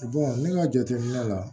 ne ka jateminɛ la